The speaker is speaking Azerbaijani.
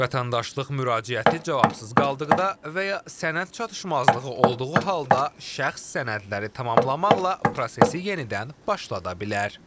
Vətəndaşlıq müraciəti cavabsız qaldıqda və ya sənəd çatışmazlığı olduğu halda şəxs sənədləri tamamlamaqla prosesi yenidən başlada bilər.